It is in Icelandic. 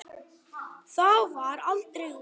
Það varð aldrei úr.